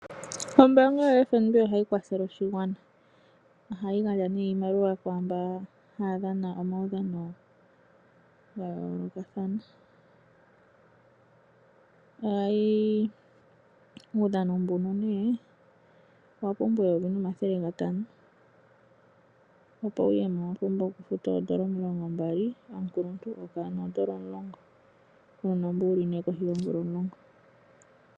Ombaanga yo FNB ohayi kwathele oshigwana. Ohayi gandja niimaliwa kwaamba haya dhana omaudhano ga yoolokathana. Uudhano mbuno nee owa pumbwa 1500 , opo wuyemo owa pumbwa oku futa $20 omukuluntu okanona $10, uunona mbu wuli kohi yoomvula omulongo.